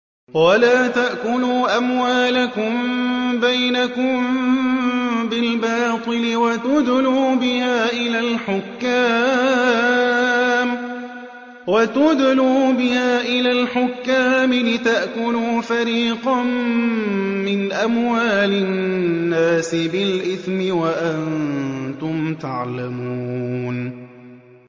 وَلَا تَأْكُلُوا أَمْوَالَكُم بَيْنَكُم بِالْبَاطِلِ وَتُدْلُوا بِهَا إِلَى الْحُكَّامِ لِتَأْكُلُوا فَرِيقًا مِّنْ أَمْوَالِ النَّاسِ بِالْإِثْمِ وَأَنتُمْ تَعْلَمُونَ